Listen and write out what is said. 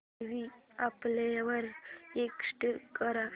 movie संपल्यावर exit कर